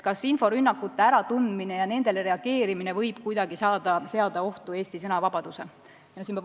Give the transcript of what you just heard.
Kas inforünnakute äratundmine ja nendele reageerimine võib kuidagi seada ohtu Eesti sõnavabaduse?